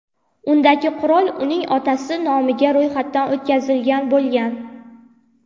Undagi qurol uning otasi nomiga ro‘yxatdan o‘tkazilgan bo‘lgan.